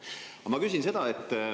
Aga ma küsin seda.